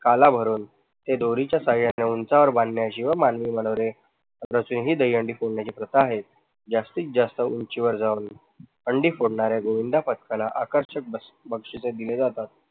काला भरून ते दोरीच्या सहाय्याने उंचावर बांधण्याची व मानवी मनोरे रचवून ही दहीहंडी फोडण्याची प्रथा आहे. जास्तीत जास्त उंचीवर जाऊन हंडी फोडणाऱ्या गोविंदा पक्षांना आकर्षक बक्षीस दिले जातात.